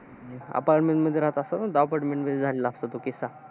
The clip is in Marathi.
Apartment मध्ये राहत असतात ना. Apartment मध्ये झालेला असतो तो किस्सा.